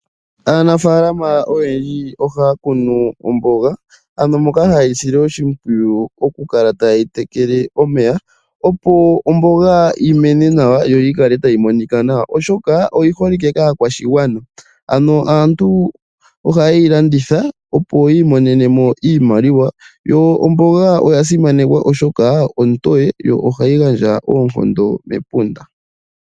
Aanafaalama oyendji ohaya kunu omboga ano moka hayeyi sile oshimpwiyu okukala tayeyi tekele omeya opo omboga yi mene nawa yo yi kale tayi monika nawa oshoka oyiholike kaakwashigwana. Aantu ohayeyi landitha opo yi imonene mo iimaliwa yo omboga oyasimanekwa oshoka ontoye yo ohayi gandja oonkondo mepunda.